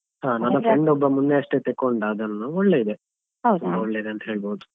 ಹ ನನ್ನ friend ಒಬ್ಬ ಮೊನ್ನೆಯಷ್ಟೇ ತೆಕ್ಕೊಂಡ ಅದನ್ನು ಒಳ್ಳೆ ಇದೆ ಒಳ್ಳೆ ಇದೆ ಅಂತ ಹೇಳ್ಬೋದು.